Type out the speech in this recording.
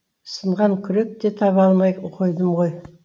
сынған күрек те таба алмай қойдым ғой